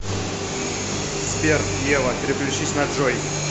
сбер ева переключись на джой